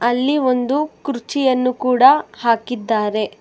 ಅಲ್ಲಿ ಒಂದು ಕುರ್ಚಿಯನ್ನು ಕೂಡ ಹಾಕಿದ್ದಾರೆ.